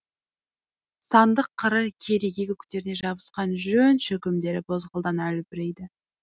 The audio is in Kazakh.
сандық қыры кереге көктеріне жабысқан жүн шөкімдері бозғылдана үлбірейді